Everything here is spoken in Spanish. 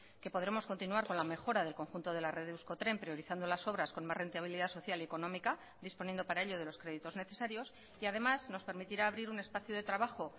que podremos continuar con la mejora del conjunto de la red de euskotren priorizando las obras con más rentabilidad social y económica disponiendo para ello de los créditos necesarios y además nos permitirá abrir un espacio de trabajo